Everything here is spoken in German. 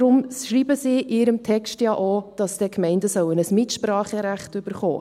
deshalb schreiben sie in ihrem Text ja auch, dass dann Gemeinden ein Mitspracherecht bekommen.